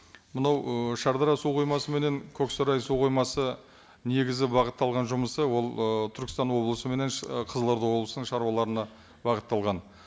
мынау ы шардара су қоймасы мен көксарай су қоймасы негізі бағытталған жұмысы ол ы түркестан облысы мен і қызылорда облысының шаруаларына бағытталған